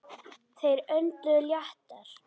Þeir önduðu léttar.